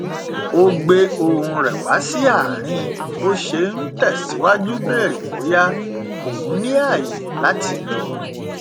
ó gbé ohùn rẹ wá sí àárín bí ó ṣe n tẹsìwájú bèrè bóyá òun ní ààyè láti lọ